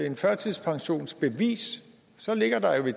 et førtidspensionsbevis så ligger der jo det